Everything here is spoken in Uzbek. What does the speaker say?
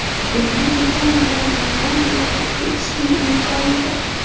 Unda dekan bilan onlayn muloqot qilishning imkoni bor.